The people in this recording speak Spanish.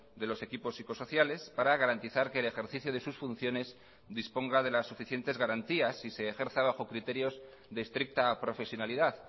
de los equipos psicosociales para garantizar que el ejercicio de sus funciones disponga de las suficientes garantías y se ejerza bajo criterios de estricta profesionalidad